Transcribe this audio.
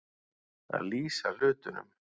Að lýsa hlutunum